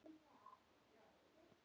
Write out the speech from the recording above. Stopp, stopp, stopp.